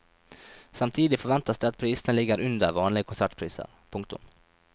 Samtidig forventes det at prisene ligger under vanlige konsertpriser. punktum